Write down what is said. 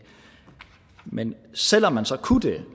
men selv om man så kunne det